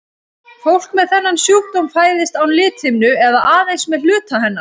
Fólk með þennan sjúkdóm fæðist án lithimnu eða aðeins með hluta hennar.